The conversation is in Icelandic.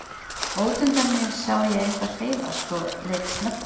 Út undan mér sá ég eitthvað hreyfast og leit snöggt upp.